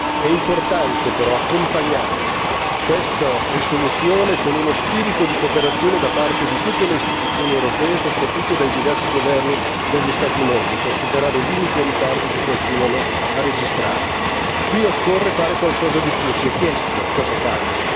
È tuttavia importante accompagnare questa risoluzione con un spirito di cooperazione da parte di tutte le istituzioni europee e soprattutto dei diversi governi degli Stati membri per superare i limiti e i ritardi che continuano a registrare. Qui occorre fare qualcosa di più, si è chiesto cosa fare.